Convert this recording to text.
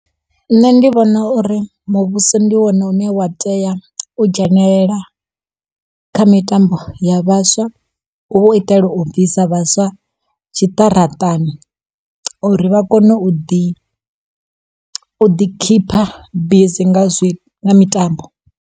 Nṋe ndi vhona uri muvhuso ndi wone une wa tea u dzhenelela kha mitambo ya vhaswa. Hu u itela u bvisa vhaswa tshiṱaratani, uri vha kone u ḓi u ḓi keeper busy nga zwi nga mitambo.